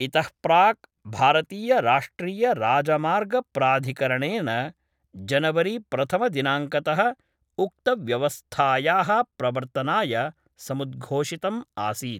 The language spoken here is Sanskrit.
इतः प्राक् भारतीयराष्ट्रीयराजमार्गप्राधिकरणेन जनवरी प्रथमदिनांकतः उक्तव्यवस्थायाः प्रवर्तनाय समुद्घोषितं आसीत्।